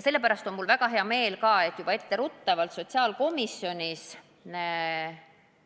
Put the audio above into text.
Ühtlasi on mul väga hea meel, et sotsiaalkomisjonis otsustati